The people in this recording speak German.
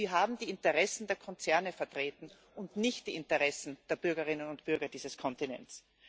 Sie haben die Interessen der Konzerne vertreten und nicht die Interessen der Bürgerinnen und Bürger dieses Kontinents.